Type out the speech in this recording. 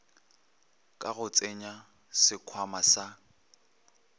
ka go tsenya sekhwama sa